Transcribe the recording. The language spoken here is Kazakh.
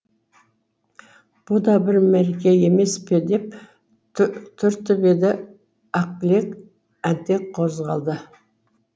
бұ да бір мереке емес пе деп түртіп еді ақбілек әнтек қозғалды